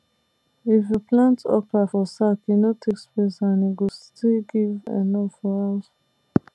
if you plant okra for sack e no take space and e go still give enough for house